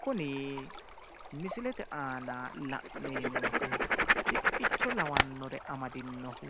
kuni misilete aana le'neemohu siqqicho lawannoricho amadinohu